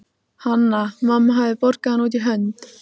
Hanna-Mamma hafði borgað hann út í hönd.